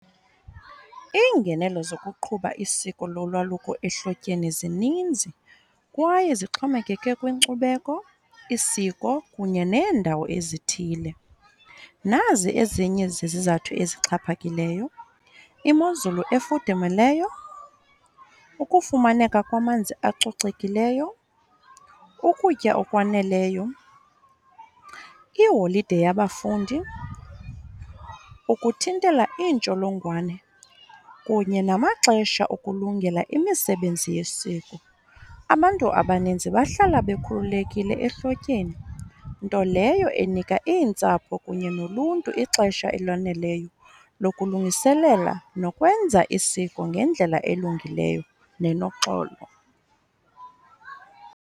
Iingenelo zokuqhuba isiko lolwaluko ehlotyeni zininzi kwaye zixhomekeke kwinkcubeko, isiko, kunye neendawo ezithile. Nazi ezinye zezizathu ezixhaphakileyo, imozulu efudumeleyo, ukufumaneka kwamanzi acocekileyo, ukutya okwaneleyo, iiholide yabafundi, ukuthintela iintsholongwane, kunye namaxesha okulungela imisebenzi yesiko. Abantu abaninzi bahlala bekhululekile ehlotyeni, nto leyo enika iintsapho kunye noluntu ixesha eloneleyo lokulungiselela nokwenza isiko ngendlela elungileyo nenoxolo.